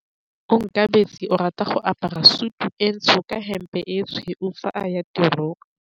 Onkabetse o rata go apara sutu e ntsho ka hempe e tshweu fa a ya tirong.